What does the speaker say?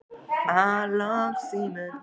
Allt fellur í dúnalogn þegar hópurinn er farinn.